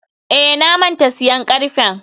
eh, na manta siyan karfen.